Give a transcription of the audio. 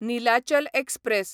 Nilachal express